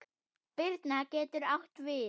Birna getur átt við